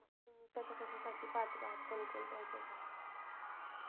कशा कशासाठी पात्र आहात कोणकोणत्या हेच्या साठी